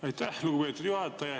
Aitäh, lugupeetud juhataja!